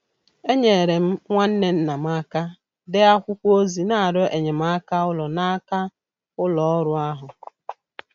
Enyere m nwa nwanne nna m aka dee akwụkwọ ozi n'arịọ enyemaka ụlọ n'aka ụlọ ọrụ ahụ.